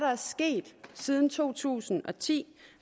sket siden to tusind og ti